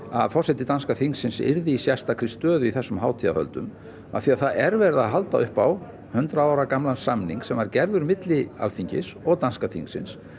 að forseti danska þingsins yrði í sérstakri stöðu í þessum hátíðarhöldum af því það er verið að halda upp á hundrað ára gamlan samning sem var gerður milli Alþingis og danska þingsins